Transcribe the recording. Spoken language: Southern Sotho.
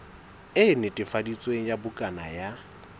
e netefaditsweng ya bukana ya